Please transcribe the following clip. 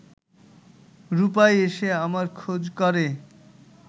রূপাই এসে আমার খোঁজ করে